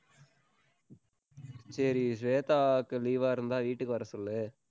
சரி, ஸ்வேதாக்கு leave ஆ இருந்தா வீட்டுக்கு வர சொல்லு.